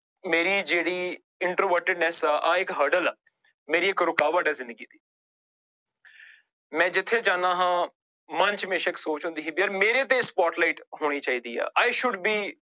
ਮੇਰੀ ਜਿਹੜੀ introvertedness ਆ ਆਹ ਇੱਕ hurdle ਆ, ਮੇਰੀ ਇੱਕ ਰੁਕਾਵਟ ਹੈ ਜ਼ਿੰਦਗੀ ਦੀ ਮੈਂ ਜਿੱਥੇ ਜਾਂਦਾ ਹਾਂ ਮਨ ਹਮੇਸ਼ਾ ਇੱਕ ਸੋਚ ਹੁੰਦੀ ਸੀ ਯਾਰ ਮੇਰੇ ਤੇ spotlight ਹੋਣੀ ਚਾਹੀਦੀ ਆ i should be